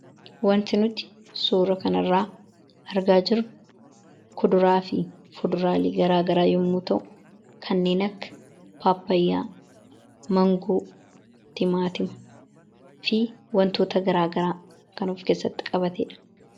Wanti nuti suura kanarraa argaa jirru kuduraa fi fuduraalee garaagaraa yommuu ta'u kanneen akka paappayyaa, mangoo, timaatimaa fi wantoota garaagaraa kan of keessatti qabateedha.